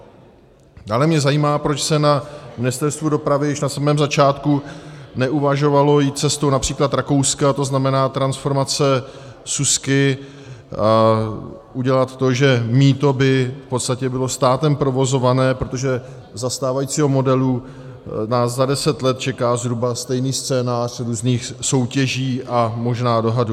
Dále mě zajímá, proč se na Ministerstvu dopravy již na samém začátku neuvažovalo jít cestou například Rakouska, to znamená, transformace súsky, udělat to, že mýto by v podstatě bylo státem provozované, protože za stávajícího modelu nás za deset let čeká zhruba stejný scénář různých soutěží a možná dohadů.